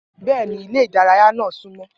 Bẹ́ẹ̀ ni ilé eré ìdárayá náà súnmọ́